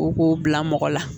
O k'o bila mɔgɔ la